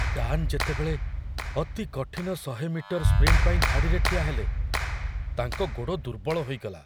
Dan ଯେତେବେଳେ ଅତି କଠିନ ୧୦୦ ମିଟର ସ୍ପ୍ରିଣ୍ଟ ପାଇଁ ଧାଡ଼ିରେ ଠିଆହେଲେ, ତାଙ୍କ ଗୋଡ଼ ଦୁର୍ବଳ ହୋଇଗଲା।